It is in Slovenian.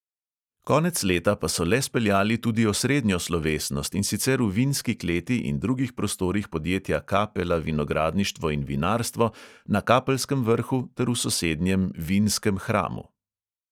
Konec leta pa so le speljali tudi osrednjo slovesnost, in sicer v vinski kleti in drugih prostorih podjetja kapela vinogradništvo in vinarstvo na kapelskem vrhu ter v sosednjem vinskem hramu.